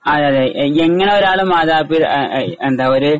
ആ അതെയതെ എങ്ങനെ ഒരാളെ മാതാപിതാ എ ഏ എന്താ ഒര്